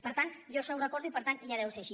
per tant jo això ho recordo i per tant ja deu ser així